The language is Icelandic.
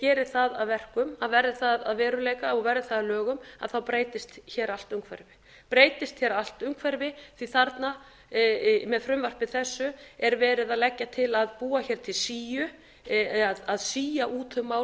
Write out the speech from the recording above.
gerir það að verkum að verði það að veruleika og verði það að lögum breytist hér allt umhverfið því að með frumvarpi þessu er verið að leggja til að búa hér til síu að sía út þau mál